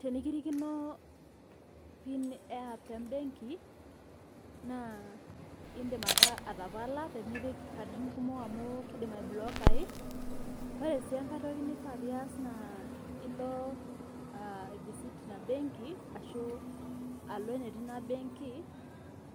Tenikirikino pii eapp embenki naa indim ake atapala temipik nkatitin kumok amu indim aiblokai ,naa ore sii enkae toki neifaa piiyas naa ilo aivisit ina imbenki ashu alo netii ina embenki,